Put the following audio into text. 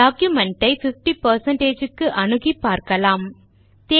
document ஐ 50 க்கு அணுகி பார்க்கலாம்